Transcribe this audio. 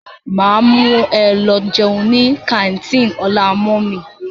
Máa mú e lọ jẹun ní kàńtìnì ọlá mummy.